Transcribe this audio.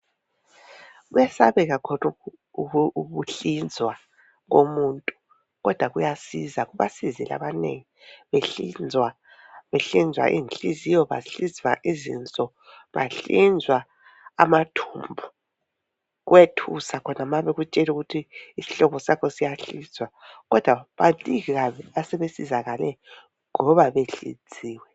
Kuyesabeka khonokhu ukuhlinzwa komuntu, kodwa kuyasiza, Kubasizile abanengi. Behlinzwa. Behlinzwa izinhliziyo, banhlizwa izinso. Bahlinzwa amathumbu. Kuyethusa khona ma bekutshela ukuthi isihlobo sakho siyahlinzwa, kodwa baningi kabi, asebesizakale, ngoba behlinziwe.